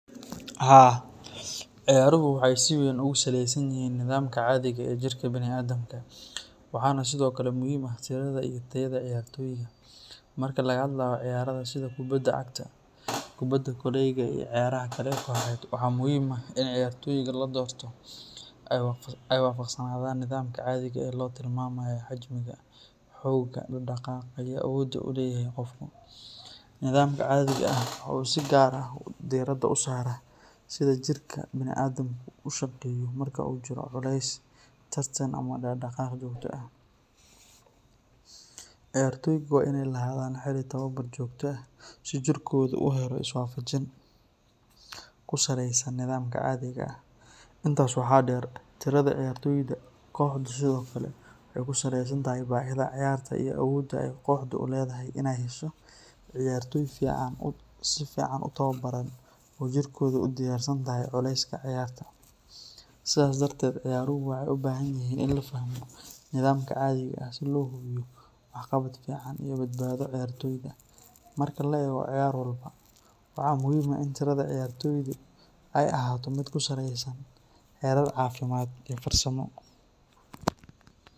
Haa ciyaaruhu waxeey si weyn oogu saleesan yihiin nidaamka cadiga ee jirka biniadamka, waxaa muhiim ah in ciyaartoyga aay wajib kanoqdaan, ciyaartoyga waa inaay lahadaan tababar joogta ah, sidaas darteed ciyaaruhu waxeey ubahan yihiin in lafahmo.